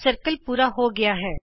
ਗੋਲਾ ਪੂਰਾ ਹੋ ਗਿਆ ਹੈ